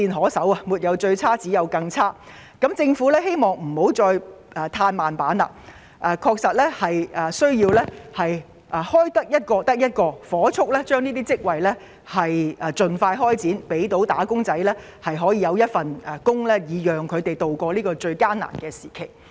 當失業情況"沒有最差，只有更差"的時候，我希望政府不要再"嘆慢板"，職位能夠開設一個便是一個，盡快火速完成此事，給"打工仔"一份工作，協助他們渡過這個難關。